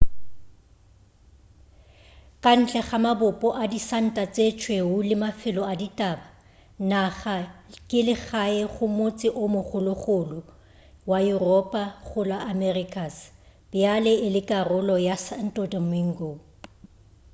ka ntle ga mabopo a disanta tše tšweu le mafelo a ditaba naga ke legae go motse o mogologolo wa yuropa go la americas bjale e le karolo ya santo domingo